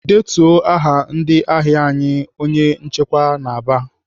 "Detuo aha ndị ahịa anyị!" Onye nchịkwa na-aba.